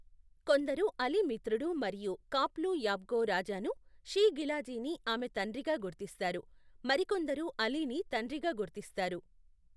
కొందరు అలీ మిత్రుడు మరియు ఖాప్లూ యాబ్గో రాజాను షీ గిలాజీని ఆమె తండ్రిగా గుర్తిస్తారు, మరికొందరు అలీని తండ్రిగా గుర్తిస్తారు.